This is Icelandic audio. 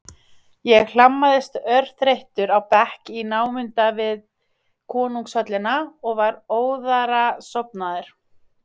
Ég hlammaðist örþreyttur á bekk í námunda við konungshöllina og var óðara sofnaður.